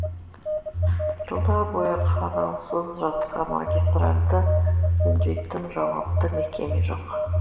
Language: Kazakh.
жылдар бойы қараусыз жатқан магистральді жөндейтін жауапты мекеме жоқ